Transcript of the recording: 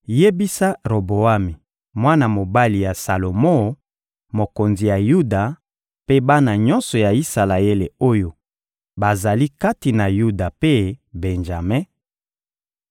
— Yebisa Roboami, mwana mobali ya Salomo, mokonzi ya Yuda, mpe bana nyonso ya Isalaele oyo bazali kati na Yuda mpe Benjame: